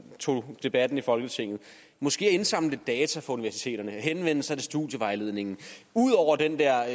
tog debatten i folketinget måske at indsamle lidt data fra universiteterne og henvende sig til studievejledningen ud over den der